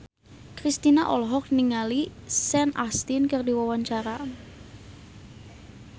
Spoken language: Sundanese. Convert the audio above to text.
Kristina olohok ningali Sean Astin keur diwawancara